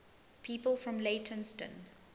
people from leytonstone